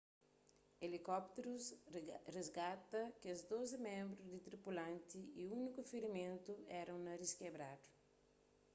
elikópterus risgata kes dozi ménbru di tripulant y úniku firimentu éra un narís kebradu